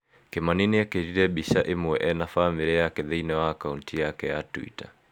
Kĩmani niekerire mbica imwe ena famĩlĩ yake thĩinĩ wa akaunti yake ya Twitter.